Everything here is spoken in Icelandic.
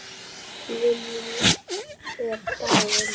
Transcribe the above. Lillý er dáin.